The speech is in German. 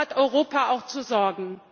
Dafür hat Europa auch zu sorgen!